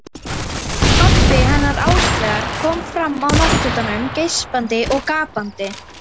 Pabbi hennar Áslaugar kom fram á náttfötunum, geispandi og gapandi.